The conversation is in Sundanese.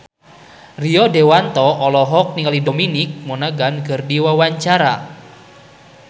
Rio Dewanto olohok ningali Dominic Monaghan keur diwawancara